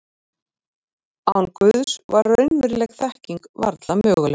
Án Guðs var raunveruleg þekking varla möguleg.